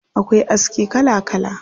Akwai aski kala kala.